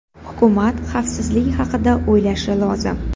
Hukumat xavfsizlik haqida o‘ylashi lozim.